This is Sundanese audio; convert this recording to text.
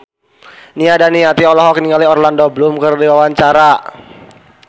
Nia Daniati olohok ningali Orlando Bloom keur diwawancara